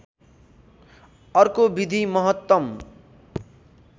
अर्को विधि महत्तम